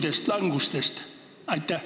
Kas ma sain õigesti aru?